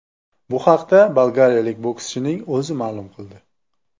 Bu haqda bolgariyalik bokschining o‘zi ma’lum qildi.